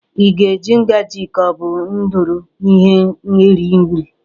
Ị ga-eji ngaji ka ọ bụ ndụrụ ihe eri nri?